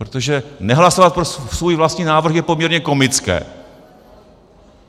Protože nehlasovat pro svůj vlastní návrh je poměrně komické.